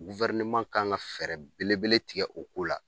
kan ka fɛɛrɛ belebele tigɛ o ko la